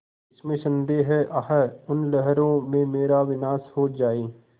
इसमें संदेह है आह उन लहरों में मेरा विनाश हो जाए